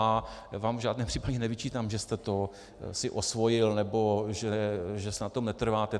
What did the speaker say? Já vám v žádném případě nevyčítám, že jste si to osvojil nebo že si na tom netrváte.